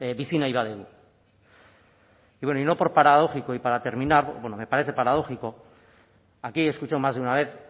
bizi nahi badugu bueno y no por paradójico y para terminar bueno me parece paradójico aquí he escuchado más de una vez